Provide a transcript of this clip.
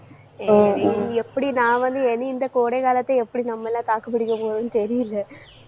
எப்படி நான் வந்து இனி இந்த கோடைகாலத்தை எப்படி நம்மெல்லாம் தாக்கு பிடிக்கப் போறோம்ன்னு தெரியலை